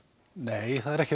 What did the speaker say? nei ekki